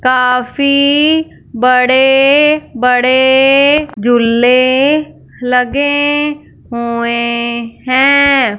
काफी बड़े बड़े झुल्ले लगे हुए हैं।